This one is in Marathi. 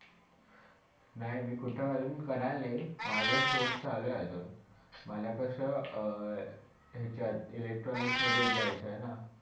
नाय मी कुठे अजून कराळे, माझा शोध चालू आहे अजून, मला कसा अं याच्यात electronics मधे घ्यायचं आहे ना.